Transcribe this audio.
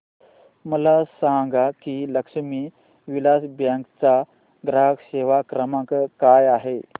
मला सांगा की लक्ष्मी विलास बँक चा ग्राहक सेवा क्रमांक काय आहे